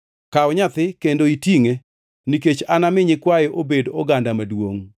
Kaw nyathi kendo itingʼe, nikech anami nyikwaye obed oganda maduongʼ.”